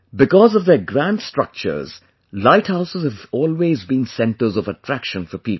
Because of their grand structures light houses have always been centres of attraction for people